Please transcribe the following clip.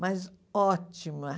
Mas ótima.